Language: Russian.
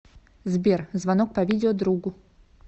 сбер звонок по видео другу